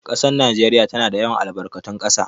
Ƙasar Najeriya tana da yawan albarkatun ƙasa